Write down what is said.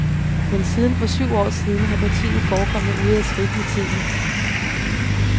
Men siden for syv år siden har partiet forekommet ude af trit med tiden.